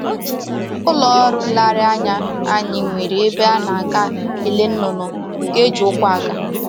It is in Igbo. Ụlọ ọrụ nlereanya anyị nwere ebe a na-aga ele nnụnụ nke e ji ụkwụ aga